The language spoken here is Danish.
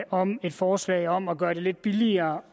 om et forslag om at gøre det lidt billigere